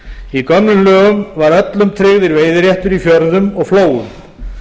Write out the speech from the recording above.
í gömlum lögum var öllum tryggður veiðiréttur í fjörðum og flóum